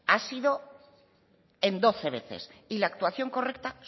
ha sido en doce veces y la actuación correcta